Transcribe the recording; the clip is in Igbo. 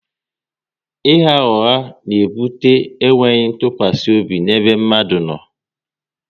ịgha ụgha na ebute e nweghị ntụkwasị obi n'ebe mmadụ no